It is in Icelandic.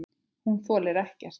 Hún þolir ekkert.